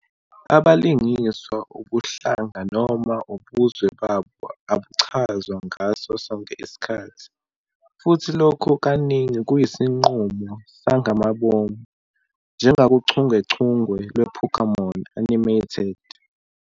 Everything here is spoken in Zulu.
abalingiswa ubuhlanga noma ubuzwe babo abuchazwa ngaso sonke isikhathi, futhi lokhu kaningi kuyisinqumo sangamabomu, njengakuchungechunge lwe-"Pokémon" animated.